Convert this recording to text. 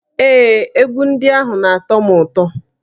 Ee, egwu ndị ahụ na-atọ m ụtọ